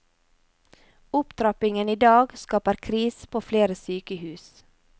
Opptrappingen i dag skaper krise på flere sykehus.